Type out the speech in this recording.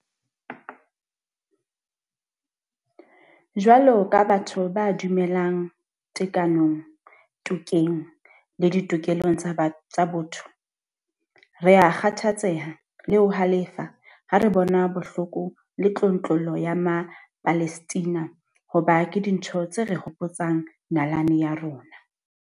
Jwalo ka batho ba dumelang tekanong, tokeng le ditokelong tsa botho, rea kgathatseha le ho halefa ha re bona bohloko le tlontlollo ya Mapalestina hoba ke dintho tse re hopotsang nalane ya rona.